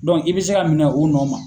i bɛ se ka minɛ o nɔ ma.